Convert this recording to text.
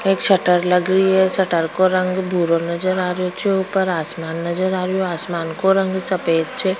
एक शटर लग रही है शटर को रंग भूरा नजर आरो छे ऊपर आसमान नजर आरो आसमान को रंग सफेद छे।